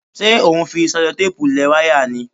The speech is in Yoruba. Ṣé o ń fi ṣẹlotẹ́ẹ̀pù lẹ wáyà ni?